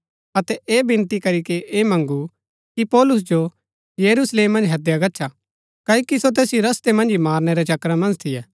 अतै ऐह विनती करीके ऐह मँगू कि पौलुस जो यरूशलेम मन्ज हैदया गच्छा क्ओकि सो तैसिओ रस्तै मन्ज ही मारनै रै चक्करा मन्ज थियै